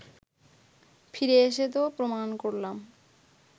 ফিরে এসে তো প্রমাণ করলাম